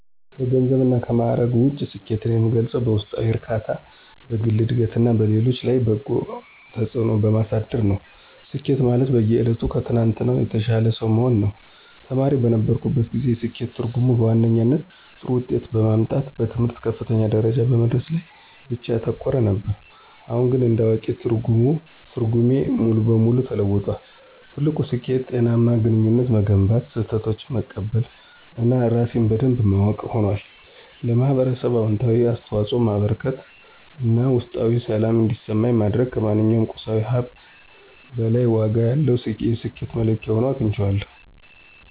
ከገንዘብና ከማዕረግ ውጪ፣ ስኬትን የምገልጸው በውስጣዊ እርካታ፣ በግል ዕድገትና በሌሎች ላይ በጎ ተጽዕኖ በማሳደር ነው። ስኬት ማለት በየዕለቱ ከትናንትናው የተሻለ ሰው መሆን ነው። ተማሪ በነበርኩበት ጊዜ፣ የስኬት ትርጉሜ በዋነኛነት ጥሩ ውጤት በማምጣትና በትምህርት ከፍተኛ ደረጃ በመድረስ ላይ ብቻ ያተኮረ ነበር። አሁን ግን እንደ አዋቂ፣ ትርጓሜው ሙሉ በሙሉ ተለውጧል። ትልቁ ስኬት ጤናማ ግንኙነቶችን መገንባት፣ ስህተቶችን መቀበል እና ራሴን በደንብ ማወቅ ሆኗል። ለኅብረተሰብ አዎንታዊ አስተዋጽኦ ማበርከት እና ውስጣዊ ሰላም እንዲሰማኝ ማድረግ ከማንኛውም ቁሳዊ ሀብት በላይ ዋጋ ያለው የስኬት መለኪያ ሆኖ አግኝቼዋለሁ።